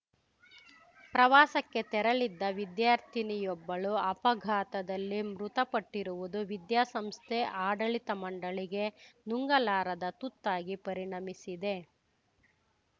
ಪ್ರವಾಸಕ್ಕೆ ತೆರಳಿದ್ದ ವಿದ್ಯಾರ್ಥಿನಿಯೊಬ್ಬಳು ಅಪಘಾತದಲ್ಲಿ ಮೃತಪಟ್ಟಿರುವುದು ವಿದ್ಯಾಸಂಸ್ಥೆ ಆಡಳಿತ ಮಂಡಳಿಗೆ ನುಂಗಲಾರದ ತುತ್ತಾಗಿ ಪರಿಣಮಿಸಿದೆ